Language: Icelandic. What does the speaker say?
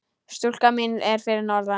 Stúlkan mín er fyrir norðan.